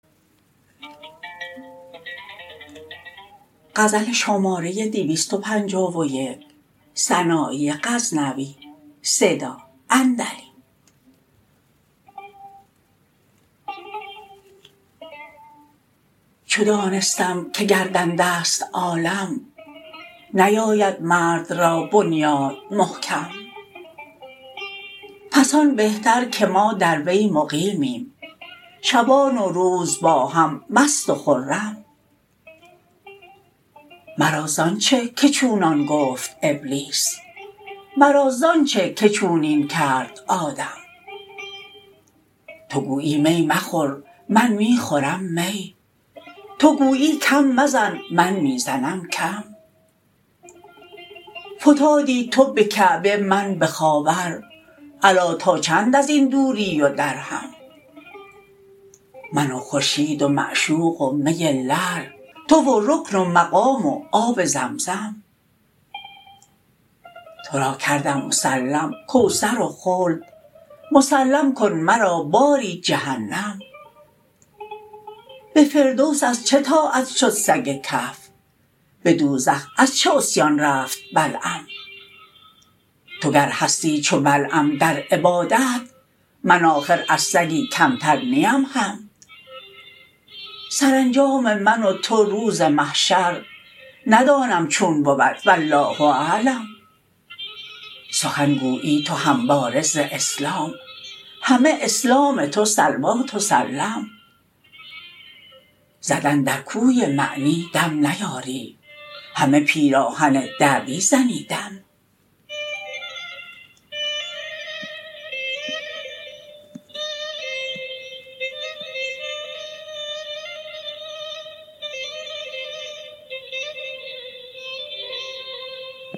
چو دانستم که گردنده ست عالم نیاید مرد را بنیاد محکم پس آن بهتر که ما در وی مقیمیم شبان و روز با هم مست و خرم مرا زان چه که چونان گفت ابلیس مرا زان چه که چونین کرد آدم تو گویی می مخور من می خورم می تو گویی کم مزن من می زنم کم فتادی تو به کعبه من به خاور الا تا چند ازین دوری و درهم من و خورشید و معشوق و می لعل تو و رکن و مقام و آب زمزم ترا کردم مسلم کوثر و خلد مسلم کن مرا باری جهنم به فردوس از چه طاعت شد سگ کهف به دوزخ از چه عصیان رفت بلعم تو گر هستی چو بلعم در عبادت من آخر از سگی کمتر نیم هم سرانجام من و تو روز محشر ندانم چون بود والله اعلم سخن گویی تو همواره ز اسلام همه اسلام تو صلوات و سلم زدن در کوی معنی دم نیاری همه پیراهن دعوی زنی دم